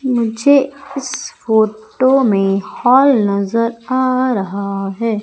मुझे इस फोटो में हॉल नजर आ रहा है।